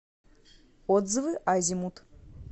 отзывы азимут